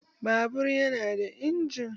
Babur ya nada injin.